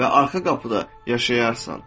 Və arxa qapıda yaşayarsan.